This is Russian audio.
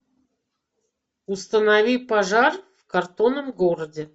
установи пожар в картонном городе